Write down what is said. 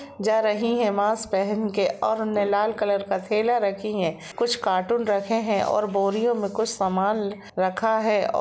जा रही है माकस पहन के ओर उने लाल कलर का थेला रखी है कुछ कार्टून रखे है ओर बोरियों मे कुछ सामान रखा है। और --